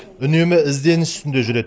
үнемі ізденіс үстінде жүреді